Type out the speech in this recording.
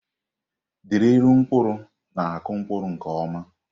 Drilu mkpụrụ na-akụ mkpụrụ nke ọma.